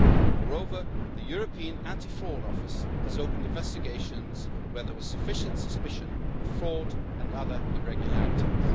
Moreover, the European Anti Fraud Office has opened investigations where there was sufficient suspicion of fraud and other irregularities.